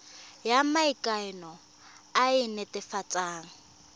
ya maikano e e netefatsang